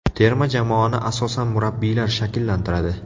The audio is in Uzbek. Terma jamoani asosan murabbiylar shakllantiradi.